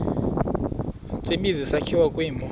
tsibizi sakhiwa kwimo